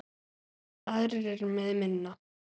Aðrir eru með minna.